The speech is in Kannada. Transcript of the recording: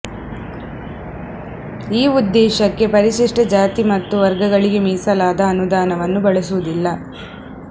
ಈ ಉದ್ದೇಶಕ್ಕೆ ಪರಿಶಿಷ್ಟ ಜಾತಿ ಮತ್ತು ವರ್ಗಗಳಿಗೆ ಮೀಸಲಾದ ಅನುದಾನವನ್ನು ಬಳಸುವುದಿಲ್ಲ